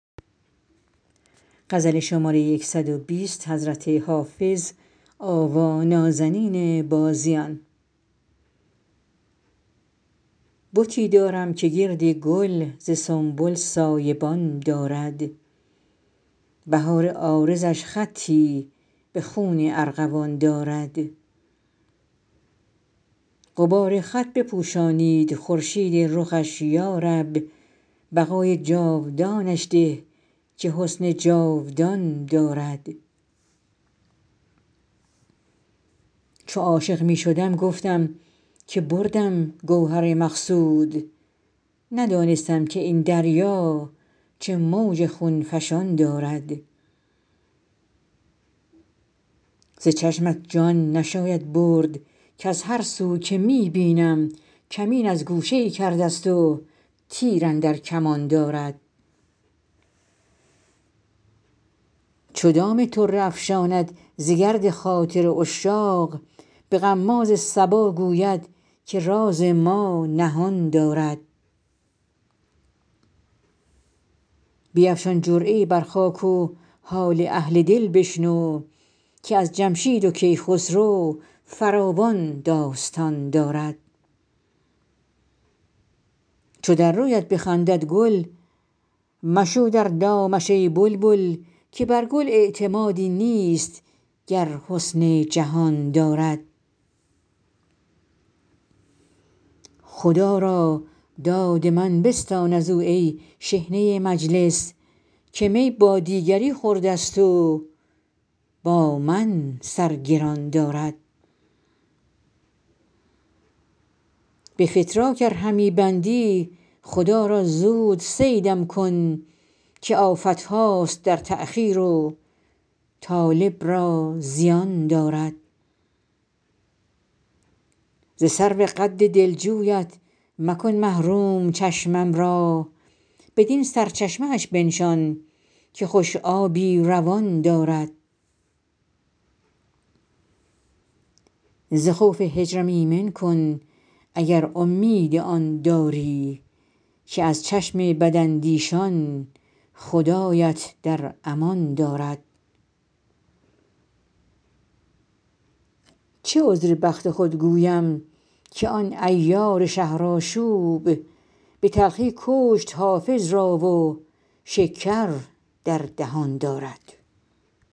بتی دارم که گرد گل ز سنبل سایه بان دارد بهار عارضش خطی به خون ارغوان دارد غبار خط بپوشانید خورشید رخش یا رب بقای جاودانش ده که حسن جاودان دارد چو عاشق می شدم گفتم که بردم گوهر مقصود ندانستم که این دریا چه موج خون فشان دارد ز چشمت جان نشاید برد کز هر سو که می بینم کمین از گوشه ای کرده ست و تیر اندر کمان دارد چو دام طره افشاند ز گرد خاطر عشاق به غماز صبا گوید که راز ما نهان دارد بیفشان جرعه ای بر خاک و حال اهل دل بشنو که از جمشید و کیخسرو فراوان داستان دارد چو در رویت بخندد گل مشو در دامش ای بلبل که بر گل اعتمادی نیست گر حسن جهان دارد خدا را داد من بستان از او ای شحنه مجلس که می با دیگری خورده ست و با من سر گران دارد به فتراک ار همی بندی خدا را زود صیدم کن که آفت هاست در تأخیر و طالب را زیان دارد ز سرو قد دلجویت مکن محروم چشمم را بدین سرچشمه اش بنشان که خوش آبی روان دارد ز خوف هجرم ایمن کن اگر امید آن داری که از چشم بداندیشان خدایت در امان دارد چه عذر بخت خود گویم که آن عیار شهرآشوب به تلخی کشت حافظ را و شکر در دهان دارد